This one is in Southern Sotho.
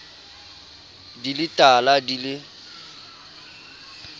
di le tala di le